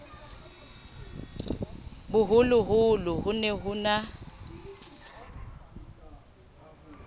boholoholo ho ne ho na